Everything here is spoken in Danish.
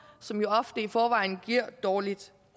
som jo ofte i forvejen giver dårligt